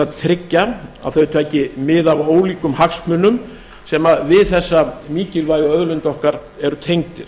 að tryggja að þau taki mið af ólíkum hagsmunum sem við þessa mikilvægu auðlind okkar eru tengdir